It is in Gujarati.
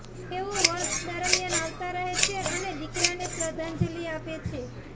તેઓ વર્ષ દરમિયાન આવતા રહે છે અને દીકરાને શ્રદ્ધાંજલિ આપે છે